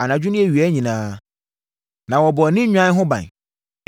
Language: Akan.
Anadwo ne awia nyinaa, na wɔbɔ yɛn ne nnwan no ho ban.